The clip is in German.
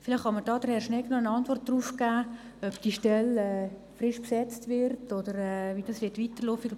Vielleicht kann mir Herr Schnegg noch eine Antwort darauf geben, ob diese Stelle neu besetzt oder wie es weitergehen wird.